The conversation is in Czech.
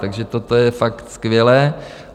Takže toto je fakt skvělé.